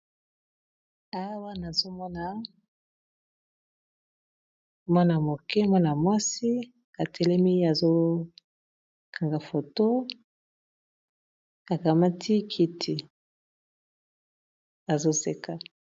Awa nazomona mwana moke mwana mwasi atelemi azokanga photo akamati kiti azoseka.